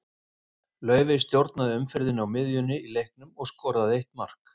Laufey stjórnaði umferðinni á miðjunni í leiknum og skoraði eitt mark.